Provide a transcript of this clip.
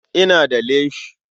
Ina da leshi.